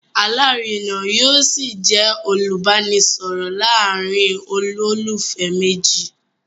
Alárina yóò ṣì jẹ́ olùbánisọ̀rọ̀ láàárín olólùfẹ́ méjì